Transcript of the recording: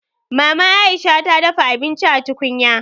Maman Aisha ta dafa abinci a tukunya